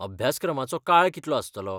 अभ्यासक्रमाचो काळ कितलो आसतलो?